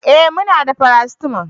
eh muna da paracetamol